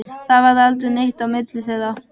Það varð aldrei neitt á milli þeirra.